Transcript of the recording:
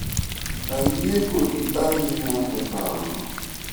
ayie kodi ahinya e paro no